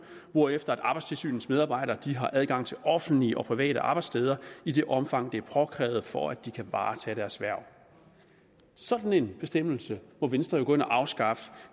hvorefter arbejdstilsynets medarbejdere har adgang til offentlige og private arbejdssteder i det omfang det er påkrævet for at de kan varetage deres hverv sådan en bestemmelse må venstre jo gå ind og afskaffe